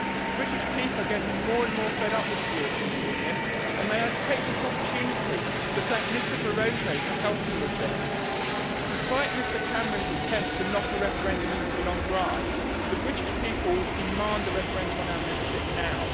British people are getting more and more fed up with the European Union. May I take this opportunity to thank Mr Barroso for helping with this. Despite Mr Cameron's attempts to knock a referendum into the long grass, the British people demand a referendum on our membership now.